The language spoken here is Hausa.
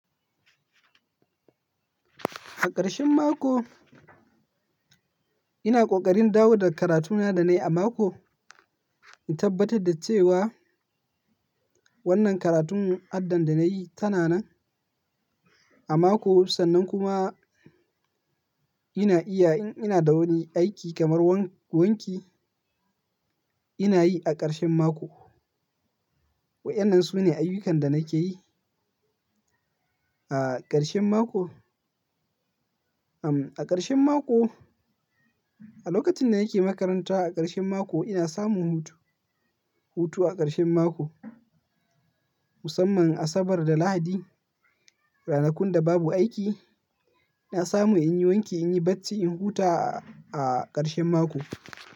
A ƙarshen mako ina ƙoƙarin dawo da karatuna da na yi a mako. In tabbatar da cewa wannan karatun addan da na yi tana nan a mako, sannan kuma ina iya in ina da wani aiki kamar wanki ina yi a ƙarshen mako. Waɗannan su ne ayyukan da nake yi a ƙarshen mako. A ƙarshen mako, a lokacin da nake makaranta a ƙarshen mako ina samun hutu. Hutu a ƙarshen mako musamman Asabar da Lahadi, ranakun da babu aiki ina samun in yi wanki, in yi bacci, in huta a ƙarshen mako.